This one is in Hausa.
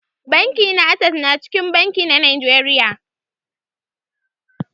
Banki na access na cikin banki na Najeriya.